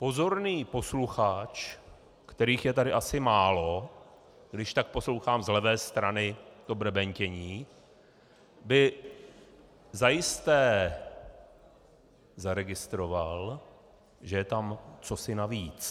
Pozorný posluchač, kterých je tady asi málo, když tak poslouchám z levé strany to brebentění, by zajisté zaregistroval, že je tam cosi navíc.